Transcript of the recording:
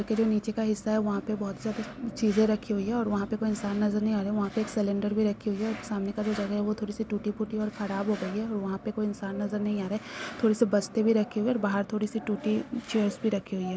उसके जो नीचे का हिस्सा हैं वहाँ पे बहोत सारी चीजे रखी हुई हैं। और वहाँ पे कोई इंसान नजर नहीं आ रहा है। और वहाँ पे एक सिलेंडर भी रखी हुई है। और सामने का जगह है वो थोड़ी-सी टूटी-फूटी और खराब हो गई है और वहा पे कोई इंसान नजर नहीं आ रहे हैं। थोड़ी-सी बस्ते भी रखी हुई हैं। और बहार थोड़ी-सी टूटी चेयर्स रखी हुई हैं।